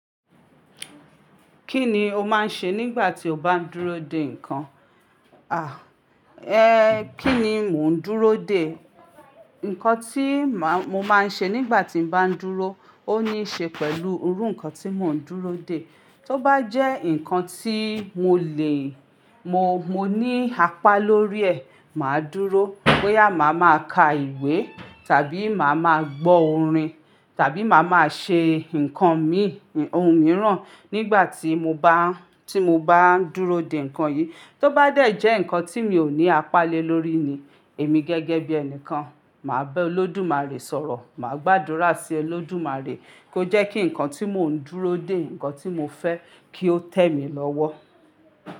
Kí ni o máa ń ṣe nígbà tí o bá ń dúró dè nǹkan? À, ẹ kí ni mò ń dúró dè? Nǹkan tí mà mo máa ń ṣe nígbà tí mo bá ń dúró ó níí ṣe pẹ̀lú irú nǹkan tí mò ń dúró dè. Tó bá jẹ́ nǹkan tí mo lè, mo, mo ní apá lórí ẹ̀, mà á dúró. Bóyá máa máa ka ìwé tàbí mà á máa gbọ orin tàbí mà á máa ṣe nǹkan mi ohun mìíràn nígbà tí mo bá, tí mo bá ń dúró dè nǹkan yìí. Tó bá dẹ̀ jẹ́ nǹkan tí mi ò ní apá lé lórí ni, èmi gẹ́gẹ́ bí ẹnìkan, mà á bá Olódùmarè sọ̀rọ̀. Mà á gbàdúrà sí Olódùmarè kó jẹ́ kí nǹkan tí mò ń dúró dè, nǹkan tí mo fẹ́ kí ó tẹ́ mi lọ́wọ́.